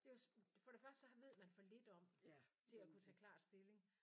Det for det første så ved man for lidt om det til at kunne tage klart stilling